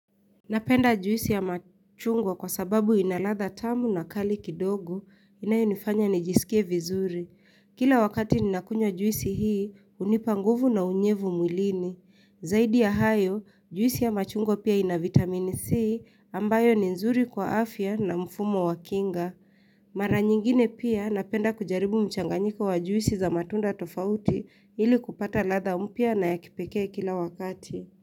Napenda juisi ya machungwa kwa sababu inaladha tamu na kali kidogo inayo nifanya nijisikie vizuri. Kila wakati nina kunywa juisi hii hunipa nguvu na unyevu mwilini. Zaidi ya hayo juisi ya machungwa pia inavitamini C ambayo ni nzuri kwa afya na mfumo wa kinga. Mara nyingine pia napenda kujaribu mchanganyiko wa juisi za matunda tofauti ili kupata ladha mpya na ya kipekee kila wakati.